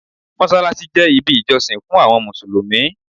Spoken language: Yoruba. Mossalassi jẹ ibi ijosin fun awọn Musulumi